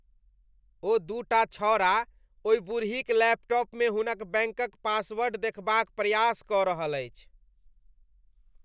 ओ दूटा छौड़ा ओहि बुड़हीक लैपटॉपमे हुनक बैंकक पासवर्ड देखबाक प्रयास कऽ रहल अछि।